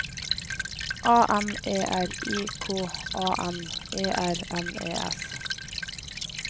A M E R I K A N E R N E S